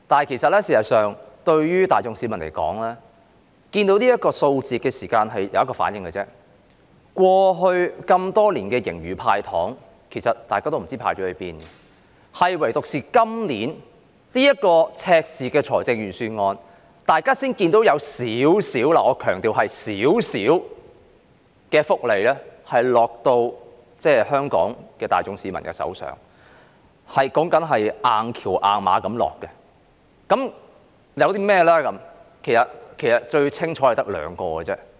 然而，市民大眾看到這個數字只有一個反應，就是過去多年，政府在盈餘預算下"派糖"，其實大家都不知道派到哪裏去了；唯獨在今年這份赤字預算案，大家才看到有少許福利——我強調是少許——"硬橋硬馬"地落到香港市民手上。